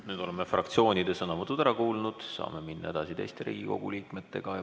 Nüüd oleme fraktsioonide sõnavõtud ära kuulanud, saame minna edasi teiste Riigikogu liikmete sõnavõttudega.